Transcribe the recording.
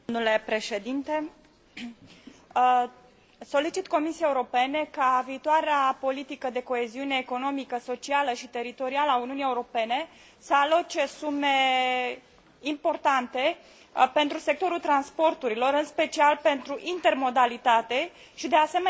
Solicit Comisiei Europene ca viitoarea politică de coeziune economică, socială și teritorială a Uniunii Europene să aloce sume importante pentru sectorul transporturilor, în special pentru intermodalitate și, de asemenea, pentru eficiența energetică a locuințelor.